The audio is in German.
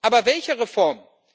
Aber welche Reformen?